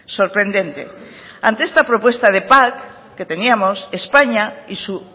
sorprendente ante esta propuesta de pac que teníamos españa y su